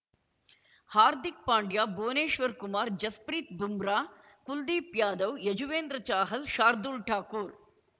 Hardik Pandya Bhuvneshwar Kumar Jasprit Bumrah Kuldeep Yadav Yuzvendra Chahal Shardul Thakur